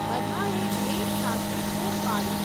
બધાએ એકસાથે બૂમ પાડી.